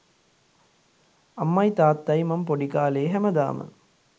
අම්මයි තාත්තයි මම පොඩි කාලේ හැමදාම